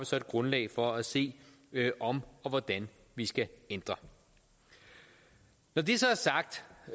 så et grundlag for at se om og hvordan vi skal ændre når det så er sagt